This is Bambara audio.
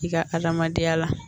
I ka adamadenya la